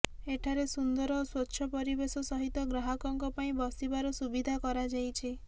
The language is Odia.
ଏଠାରେ ସୁନ୍ଦର ଓ ସ୍ୱଚ୍ଛ ପରିବେଶ ସହିତ ଗ୍ରାହକଙ୍କ ପାଇଁ ବସିବାର ସୁବିଧା କରାଯାଇଛି